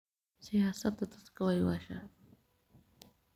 Siyasada dadka waywasha.